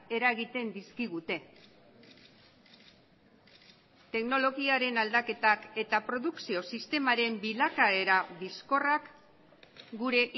eragiten dizkigute teknologiaren aldaketak eta produkzio sistemaren bilakaera bizkorrak gure